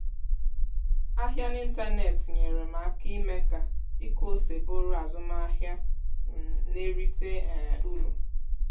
ahịa n'ịntanetị nyere m aka ime ka ịkụ ose bụrụ azụmahịa um na-erite um uru